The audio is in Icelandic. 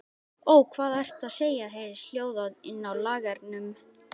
Ó, hvað ertu að segja, heyrðist hljóðað inni á lagernum.